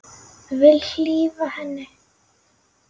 Vil hlífa henni.